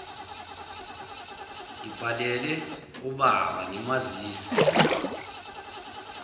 ngibhalele ubaba ngimazisa